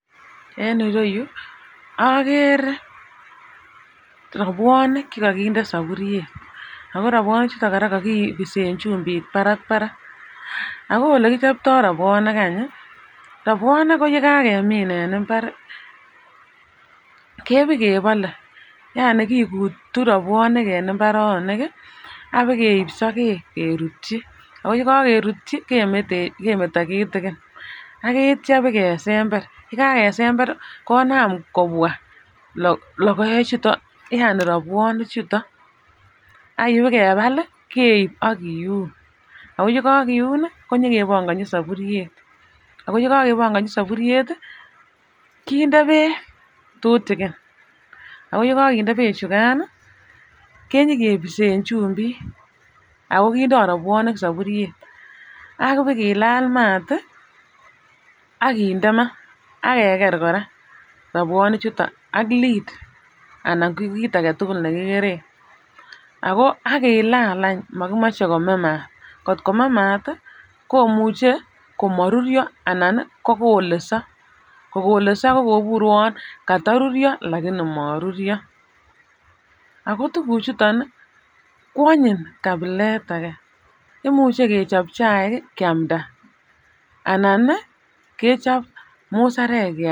En ireyuu okere robwonik chekokinde soburyet ako to robwonik chuton kokipisen chumbik barabarak ako olekichoptoo robwonik anyi robwonik yekakemin en imbar kebokebole yaani ikutu robwonik en imbaronik kii apakeib sokek kerutyi ako yekokerurtyo kemeto kitikini ak kityok bakesember Yekakesemberi konam konam kobwa lokoek chuton yaani robwonik chuton apakebel keib inyo kiun ako yekokiuni inyokebongochi soburyet. Ako yekokebonkochi soburyet tii kinde beek tutukin ako yekokinde beek chukan nii kenyo kopisen chumbik ako kindo robwonik soburyet apakilal mat tii akinde ama akeker Koraa robwonik chuton ak [ca]lid anan ko kit agetukul nekikuren. Ako akilal ach mokimoche kome maat kotkome maat komuche komoruryo ana kokoleso, kokolese ko kobur uwon kokoruryo lakini moruryo ako tukuchuton kwonyiny kapilet age imuche kechob chaik kii kiamda anan nii kechob musarek kiamda.